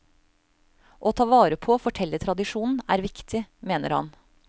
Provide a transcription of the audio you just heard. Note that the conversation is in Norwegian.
Å ta vare på fortellertradisjonen er viktig, mener han.